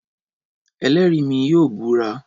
Ẹlẹ́rìí mi yóò búra